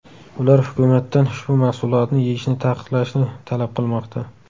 Ular hukumatdan ushbu mahsulotni yeyishni taqiqlashni talab qilmoqda.